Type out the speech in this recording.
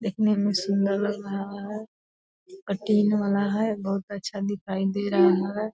देखने में सुंदर लग रहा है। कटिन वाला है बहुत अच्छा दिखाई दे रहा है।